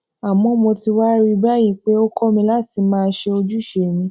àmó mo ti wá rí i báyìí pé ó kó mi láti máa ṣe ojúṣe mi